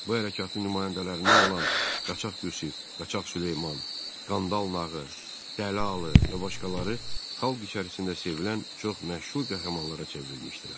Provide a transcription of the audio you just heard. Bu hərəkatın nümayəndələrindən olan Qaçaq Qüsiyev, Qaçaq Süleyman, Qandal Nağı, Dəli Alı və başqaları xalq içərisində sevilən çox məşhur qəhrəmanlara çevrilmişdilər.